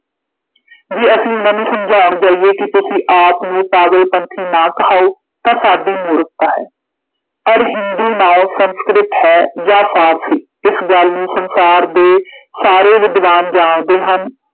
ਜੇ ਅਸੀਂ ਉਨ੍ਹਾਂ ਨੂੰ ਸਮਝਾਉਣ ਜਾਈਏ ਕਿ ਤੁਸੀਂ ਆਪ ਨੂੰ ਪਾਗਲ ਪੰਥੀ ਨਾ ਕਹਾਉਂ, ਤਾਂ ਸਾਡੀ ਮੂਰਖਤਾ ਹੈ, ਅਰ ਹਿੰਦੂ ਨਾਉਂ ਸੰਸਕ੍ਰਿਤ ਹੈ ਜਾਂ ਫਾਰਸੀ, ਇਸ ਗੱਲ ਨੂੰ ਸੰਸਾਰ ਦੇ ਸਾਰੇ ਵਿਦਵਾਨ ਜਾਣਦੇ ਹਨ,